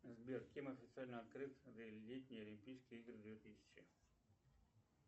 сбер кем официально открыты летние олимпийские игры две тысячи